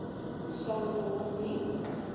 sal word nie